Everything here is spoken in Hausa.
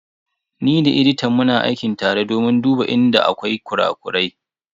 Ni da editan muna aiki tare domin duba inda akwai kura-kurai.